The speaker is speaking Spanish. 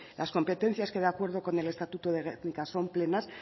las competencias que de acuerdo con el estatuto de gernika son plenas